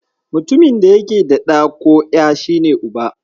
Mutumin da yake da ɗa ko ƴa, shi ne Uba.